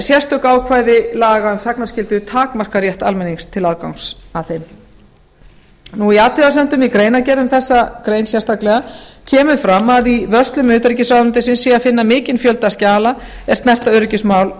sérstök ákvæði laga um þagnarskyldu takmarka rétt almennings til aðgangs að þeim í athugasemdum í greinargerð um þessa grein sérstaklega kemur fram að í vörslum utanríkisráðuneytis sé að finna mikinn fjölda skjala er snerta öryggismál